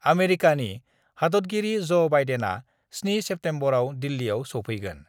आमेरिकानि हादतगिरि ज ' बाइडेनआ 7 सेप्तेम्बरआव दिल्लीयाव स'फैगोन।